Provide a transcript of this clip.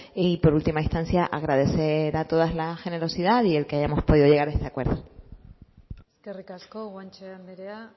y por última instancia agradecer a todas la generosidad y el que hayamos podido llegar a este acuerdo eskerrik asko guanche andrea